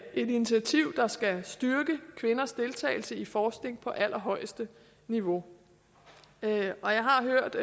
initiativ der skal styrke kvinders deltagelse i forskningen på allerhøjeste niveau jeg har hørt